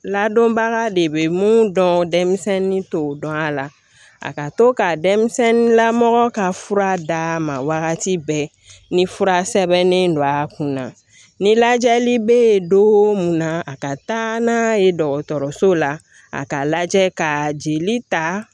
Ladɔnbaga de bɛ mun dɔn denmisɛnnin t'o dɔn a la a ka to ka lamaga ka fura d'a ma wagati bɛɛ ni fura sɛbɛnnen don a kun na ni lajɛli bɛ yen don o mun na a ka taa n'a ye dɔgɔtɔrɔso la a k'a lajɛ ka jeli ta